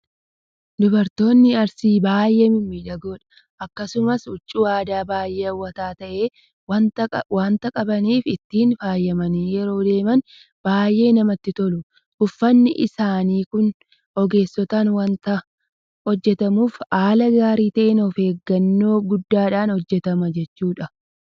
Dubartoonni arsii baay'ee mimmiidhagoodha. Akkasumas huccuu aadaa baay'ee hawwataa ta'e waanta qabaniif ittiin faayamanii yeroo deeman baay'ee namatti tolu. Uffanni isaanii kun ogeessotaan waanta hojjetamuuf haala gaarii ta'een ofeeggannoo guddaadhaan hojjetama jechuudha.